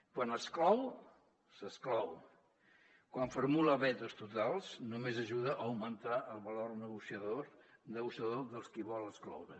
quan exclou s’exclou quan formula vetos totals només ajuda a augmentar el valor negociador dels qui vol excloure